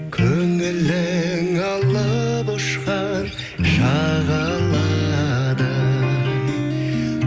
көңілің алып ұшқан шағаладай